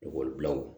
Ekɔlibila o